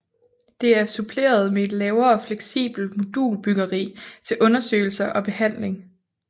Det er suppleret med et lavere fleksibelt modulbyggeri til undersøgelser og behandling